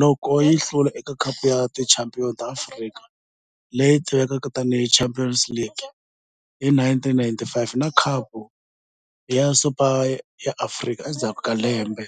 loko yi hlula eka Khapu ya Tichampion ta Afrika, leyi tivekaka tani hi Champions League hi 1995 na Khapu ya Super ya Afrika endzhaku ka lembe.